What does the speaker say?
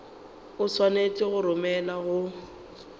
o swanetše go romelwa go